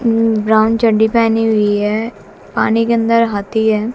उम्म brown चड्डी पहनी हुई है पानी के अंदर हाथी है।